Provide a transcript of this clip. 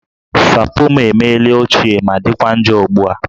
Sapo m emela ochie ma dịkwa njọ ugbu a